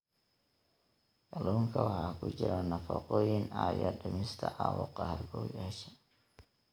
Kalluunka waxaa ku jira nafaqooyin caawiya dhimista caabuqa halbowlayaasha.